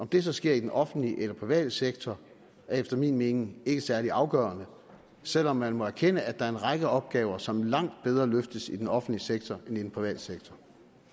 det så sker i den offentlige eller private sektor er efter min mening ikke særlig afgørende selv om man må erkende at der er en række opgaver som langt bedre løftes i den offentlige sektor end i den private sektor